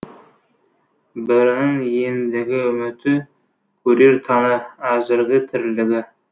бірінің ендігі үміті көрер таңы әзіргі тірлігі